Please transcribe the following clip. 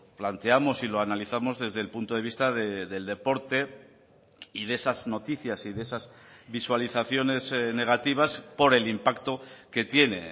planteamos y lo analizamos desde el punto de vista del deporte y de esas noticias y de esas visualizaciones negativas por el impacto que tiene